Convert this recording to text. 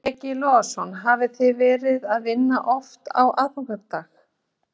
Breki Logason: Hafið þið verið að vinna oft á aðfangadag?